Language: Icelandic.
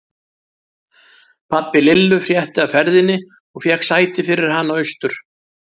Pabbi Lillu frétti af ferðinni og fékk sæti fyrir hana austur.